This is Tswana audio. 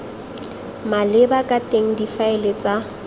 maleba ka teng difaele tsa